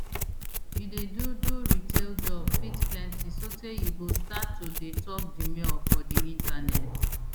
you dey do do retail job fit plenti sotay you go start to dey tok demure for di internet